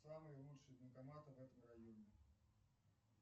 самые лучшие банкоматы в этом районе